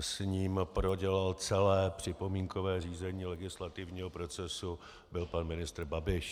s ním prodělal celé připomínkové řízení legislativního procesu, byl pan ministr Babiš.